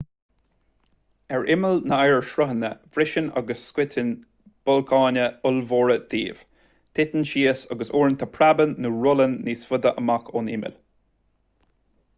ar imeall na n-oighearshruthanna briseann agus scoitheann blocanna ollmhóra díobh titeann síos agus uaireanta preabann nó rollann níos faide amach ón imeall